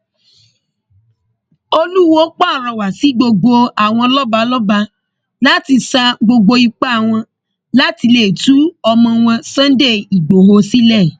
olùwọọ pàrọwà sí gbogbo àwọn lọba lọba láti sa gbogbo ipá wọn láti lè tú ọmọ wọn sunday ighò sílẹ